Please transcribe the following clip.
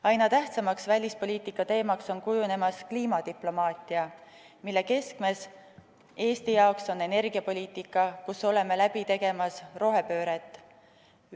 Aina tähtsamaks välispoliitika teemaks on kujunemas kliimadiplomaatia, mille keskmes Eesti jaoks on energiapoliitika, kus oleme läbi tegemas rohepööret.